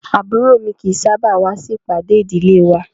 Àbúrò mi kì í sábà wá sí ìpàdé ìdílé wa